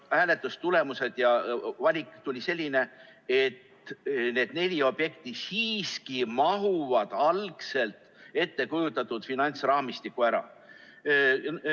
Hääletustulemused ja valikud tulid sellised, et need neli objekti siiski mahuvad algselt ettekujutatud finantsraamistikku ära.